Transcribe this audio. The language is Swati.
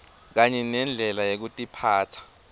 kanye nendlela yekutiphatsa